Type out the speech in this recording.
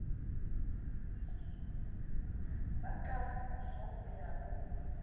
ba kamoso o ya o